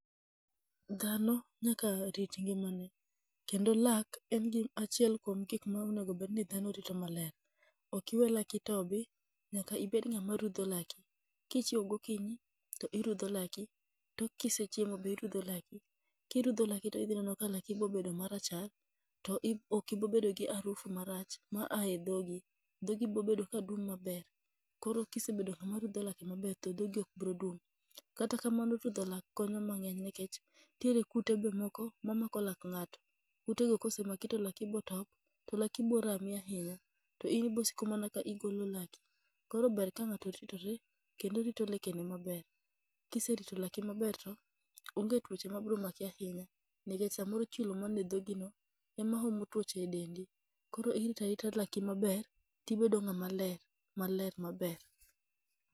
Dhano nyaka rit ngima ne, kendo lak en gi achiel kuom gik ma dhano onegobedni rito maber. Okiwe laki tobi, nyaka ibed ng'ama rudho laki. Kichiewo gokinyi to irudho laki, tok kisechiemo be irudho laki. Kirudho laki to idhi neno ka laki bedo marachar, to okibibedo gi arufu marach ma ae dhogi. Dhogi brobedo ka dung' maber, koro kisebedo ng'ama rudho lake maber to dhogi ok bro dung'. Kata kamano rudho lak konyo mang'eny nekech nitiere kute be moko ma mako lak ng'ato, kute go kosemaki to lako botop, to laki bo rami ahinya. To in ibosiko mana ka igolo laki, koro ber ka ng'ato oritore, kendo orito lekene maber. Kiserito laki maber to onge tuoche ma bro maki ahinya, nekech samoro chilo mane shogi no ema omo tuoche e dendi. Koro iritarita laki maber., tibedo ng'ama ler, maler maber.